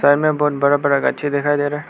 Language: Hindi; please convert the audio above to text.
में बोहत बड़ा बड़ा गाची दिखाई दे रहा है।